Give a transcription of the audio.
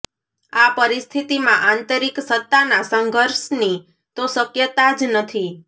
આ પરિસ્થિતિમાં આંતરિક સત્તાના સંઘર્ષની તો શક્યતા જ નથી